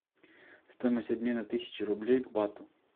стоимость обмена тысячи рублей к бату